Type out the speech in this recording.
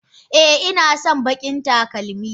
Eh inason bakin talakmi.